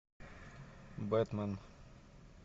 бэтмен